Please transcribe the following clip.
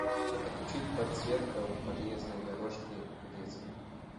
отключить подсветка подъездной дорожки в детской